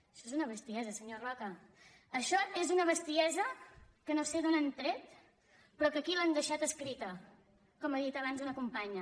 això és una bestiesa senyor roca això és una bestiesa que no sé d’on han tret però que aquí l’han deixat escrita com ha dit abans una companya